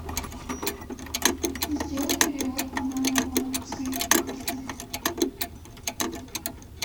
сделай перевод по номеру банковской карты